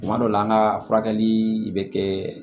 Tuma dɔ la an ka furakɛli bɛ kɛ